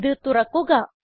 ഇത് തുറക്കുക